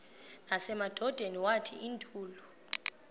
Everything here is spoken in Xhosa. nasemadodeni wathi ndilu